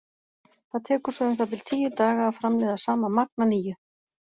Það tekur svo um það bil tíu daga að framleiða sama magn að nýju.